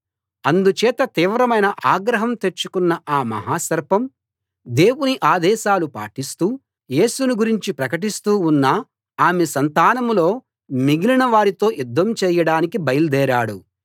అందుచేత తీవ్రమైన ఆగ్రహం తెచ్చుకున్న ఆ మహా సర్పం దేవుని ఆదేశాలు పాటిస్తూ యేసును గురించి ప్రకటిస్తూ ఉన్న ఆమె సంతానంలో మిగిలిన వారితో యుద్ధం చేయడానికి బయల్దేరాడు